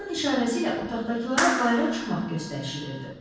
Başının işarəsi ilə otaqdakılara bayıra çıxmaq göstərişi verdi.